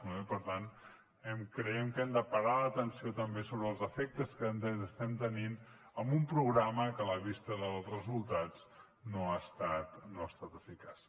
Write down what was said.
i per tant creiem que hem de parar l’atenció també sobre els efectes que estem tenint amb un programa que a la vista dels resultats no ha estat eficaç